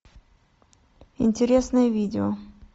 интересное видео